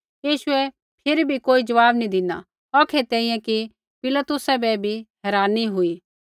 यीशुऐ फिरी भी कोई ज़वाब नी धिना औखै तैंईंयैं कि पिलातुसा बै भी हेरानी हुई